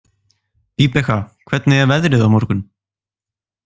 Vibeka, hvernig er veðrið á morgun?